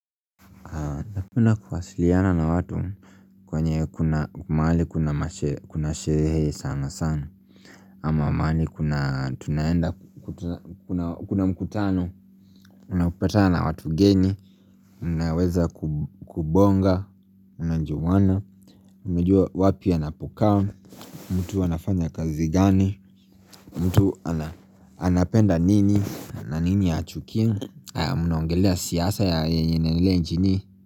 Napenda kuwasiliana na watu kwenye kuna mahali kuna kuna sherehe sana sana ama maali kuna tunaenda kuna mkutano Unaopatana na watu geni, unaweza kubonga, mnajuwana Umejua wapi anapokaa, mtu anafanya kazi gani mtu anapenda nini na nini yachukia, munaongelea siyasa yenye inaendelea nchini.